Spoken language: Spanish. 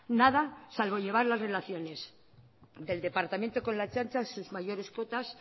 nada salvo llevar las relaciones del departamento con la ertzaintza a sus mayores cotas